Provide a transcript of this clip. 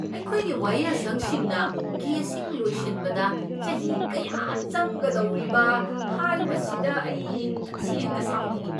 ꯑꯩꯈꯣꯏꯒꯤ ꯋꯥꯌꯦꯜꯁꯪꯁꯤꯡꯅ ꯀꯦꯁꯁꯤꯡ ꯂꯣꯏꯁꯤꯟꯕꯗ ꯆꯍꯤ ꯀꯌꯥ ꯆꯪꯒꯗꯧꯔꯤꯕ ꯍꯥꯏꯕꯁꯤꯗ ꯑꯩ ꯇꯁꯦꯡꯅ ꯁꯥꯎꯅꯤꯡꯏ ꯫